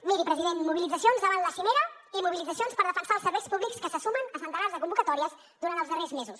miri president mobilitzacions davant la cimera i mobilitzacions per defensar els serveis públics que se sumen a centenars de convocatòries durant els darrers mesos